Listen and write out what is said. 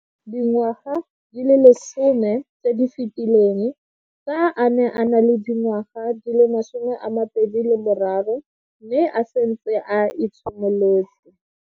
Dingwaga di le 10 tse di fetileng, fa a ne a le dingwaga di le 23 mme a setse a itshimoletse.